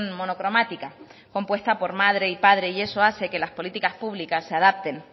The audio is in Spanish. monocromática compuesta por madre y padre y eso hace que las políticas públicas se adapten